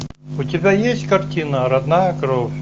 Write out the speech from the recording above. у тебя есть картина родная кровь